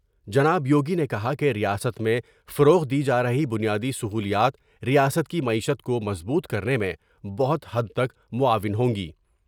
جناب یوگی نے کہا کہ ریاست میں فروغ دی جارہی بنیادی سہولیات ریاست کی معیشت کومضبوط کرنے میں بہت حد تک معاون ہوں گی ۔